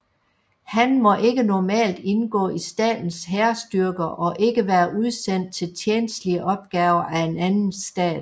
Han må ikke normalt indgå i statens hærstyrker og ikke være udsendt til tjenstlige opgaver af en anden stat